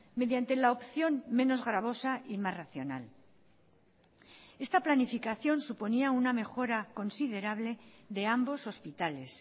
mediante la opción menos gravosa y más racional esta planificación suponía una mejora considerable de ambos hospitales